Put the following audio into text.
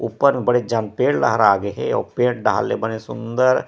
ऊपर में बड़ेक जन पेड़ लहरा गए हे आऊ पेड़ डहन ले बहुत सूंदर--